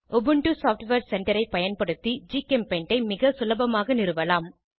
Ubuntu software centre ஐ பயன்படுத்தி ஜிகெம்பெய்ண்ட் ஐ மிக சுலபமாக நிறுவலாம்